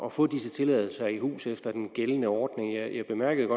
at få disse tilladelser i hus efter den gældende ordning jeg bemærkede